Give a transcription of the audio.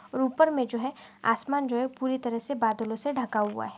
और ऊपर मे जो है आसमान जो है पूरी तरह से बादलो से ढका हुआ है।